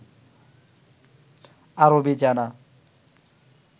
আরবি জানা